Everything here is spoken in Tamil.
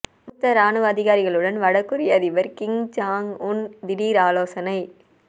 மூத்த ராணுவ அதிகாரிகளுடன் வடகொரிய அதிபர் கிம் ஜாங் உன் திடீர் ஆலோசனை